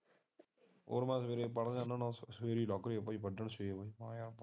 ਹੁਣ ਨਾ ਮੈਂ ਸਵੇਰੇ ਪੜ ਲੈਂਦਾ